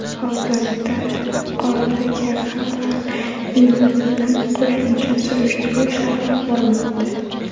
Hozirda yuqoridagi xabar yuzasidan qo‘shimcha surishtiruv ishlari olib borilmoqda.